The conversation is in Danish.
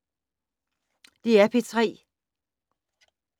DR P3